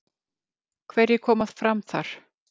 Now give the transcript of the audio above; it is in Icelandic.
Hverjir koma fram þar?